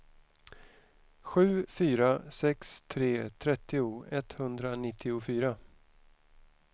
sju fyra sex tre trettio etthundranittiofyra